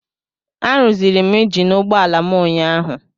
Arụziri m injin ụgbọala m ụnyaahụ.